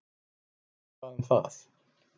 Hver bað um það?